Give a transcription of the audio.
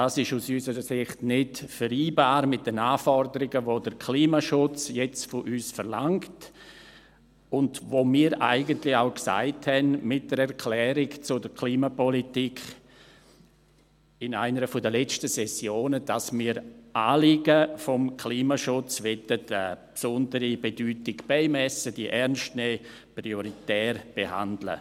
Dies ist aus unserer Sicht nicht vereinbar mit den Anforderungen, welche der Klimaschutz jetzt von uns verlangt und für welche wir eigentlich auch mit einer Erklärung zur Klimapolitik in einer der letzten Sessionen sagten, dass wir den Anliegen des Klimaschutzes besondere Bedeutung beimessen wollen, diese ernst nehmen, prioritär behandeln.